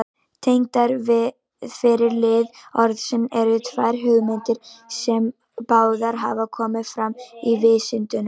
Tengdar við fyrri lið orðsins eru tvær hugmyndir, sem báðar hafa komið fram í vísindunum.